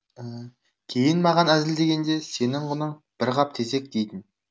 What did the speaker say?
кейін маған әзілдегенде сенің құның бір қап тезек дейтін